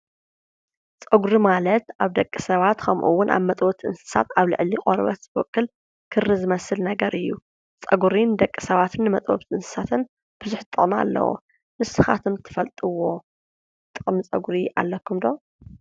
ፀጉሪ ማለት ኣብ ደቂ ሰባት ኸምኡውን ኣብ መጥበውቲ እንስሳት ኣብ ልዕሊ ቆርበት ዝበቁል ክሪ ዝመስል ነገር እዩ፡፡ ፀጉሪ ንደቂሰባትን ንመጥበውቲ እንስሳትን ብዙሕ ጥቕሚ ኣለዎ፡፡ ንስኻትኩም ትፈልጥዎ ጥቕሚ ፀጉሪ ኣሎኩም ዶ?